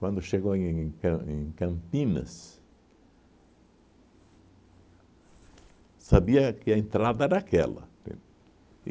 Quando chegou em Cam em Campinas, sabia que a entrada era aquela, entende?